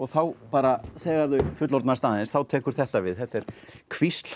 þá bara þegar þau fullorðnast aðeins þá tekur þetta við þetta er hvísl